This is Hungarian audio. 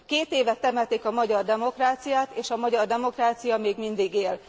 Két éve temetik a magyar demokráciát, és a magyar demokrácia még mindig él!